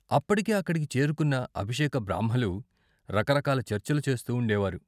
అప్పటికే అక్కడికి చేరుకున్న అభిషేక బ్రాహ్మలు రకరకాల చర్చలు చేస్తూ ఉండేవారు.